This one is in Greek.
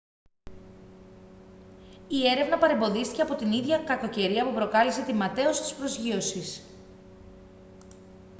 η έρευνα παρεμποδίστηκε από την ίδια κακοκαιρία που προκάλεσε την ματαίωση της προσγείωσης